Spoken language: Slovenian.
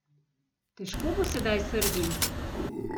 Težko bo sedaj Srbiji.